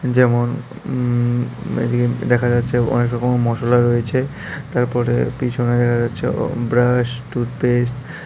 যেমন উম এদিকে দেখা যাচ্ছে অনেক রকমের মশলা রয়েছে তারপরে পিছনে দেখা যাচ্ছে অ ব্রাশ টুথ পেস্ট --